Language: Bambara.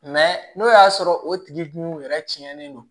n'o y'a sɔrɔ o tigi dun yɛrɛ cɛnnen don